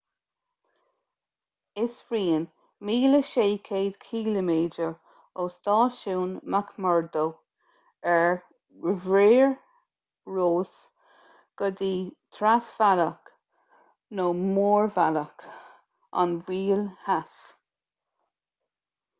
is rian 1600 km ó stáisiún mcmurdo ar mhuir rois go dtí trasbhealach nó mórbhealach an mhoil theas